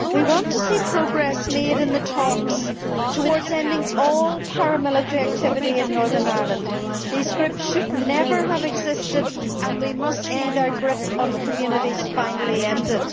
We want to see progress made in the talks towards ending all paramilitary activity in Northern Ireland. These groups should never have existed and we must see their grip on communities finally ended.